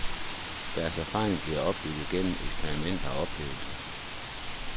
Deres erfaringer bliver opbygget gennem eksperimenter og oplevelser.